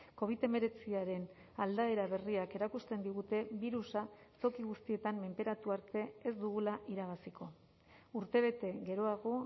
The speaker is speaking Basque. covid hemeretziaren aldaera berriak erakusten digute birusa toki guztietan menperatu arte ez dugula irabaziko urtebete geroago